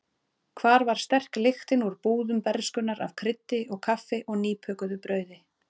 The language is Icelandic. Hvar var sterk lyktin úr búðum bernskunnar af kryddi og kaffi og nýbökuðu brauði?